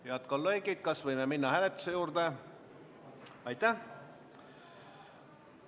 Head kolleegid, kas võime minna hääletuse juurde?